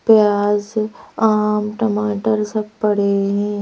प्याज आम टमाटर सब पड़े हैं।